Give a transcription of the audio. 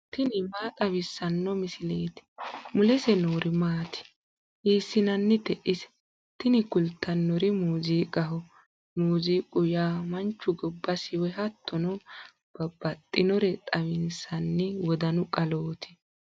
tini maa xawissanno misileeti ? mulese noori maati ? hiissinannite ise ? tini kultannori muuziiqaho. muuziiqu yaa manchu gobbasi woy hattono babbaxxinore xawinsanni wodanu qalooti.